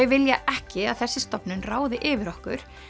vilja ekki að þessi stofnun ráði yfir okkur